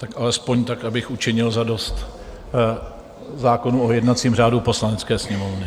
Tak alespoň tak, abych učinil zadost zákonu o jednacím řádu Poslanecké sněmovny.